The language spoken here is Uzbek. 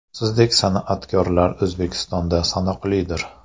Sizdek san’atkorlar O‘zbekistonda sanoqlidir.